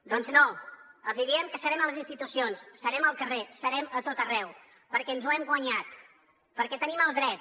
doncs no els diem que serem a les institucions serem al carrer serem a tot arreu perquè ens ho hem guanyat perquè en tenim el dret